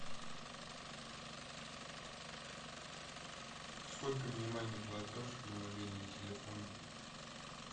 сколько минимальный платеж на мобильный телефон